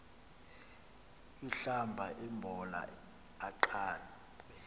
ahlamba imbola aqabe